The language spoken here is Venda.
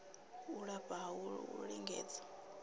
u lafha ha u lingedza